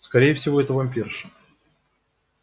скорее всего это вампирша